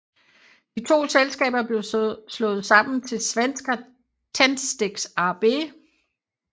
De to selskaber blev slået sammen til Svenska Tändsticks AB